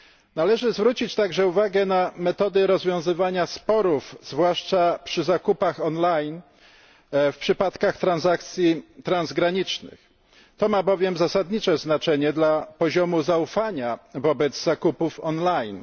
Należy także zwrócić uwagę na metody rozwiązywania sporów, zwłaszcza przy zakupach online w przypadkach transakcji transgranicznych to ma bowiem zasadnicze znaczenie dla poziomu zaufania wobec zakupów online.